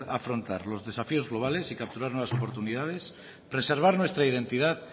afrontar los desafíos globales y capturar nuevas oportunidades preservar nuestra identidad